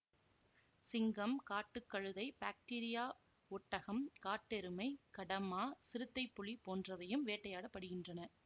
சிங்கம் காட்டு கழுதை பாக்டீரிய ஒட்டகம் காட்டெருமை கடமா சிறுத்தைப் புலி போன்றவையும் வேட்டையாட படுகின்றன